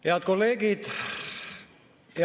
Head kolleegid!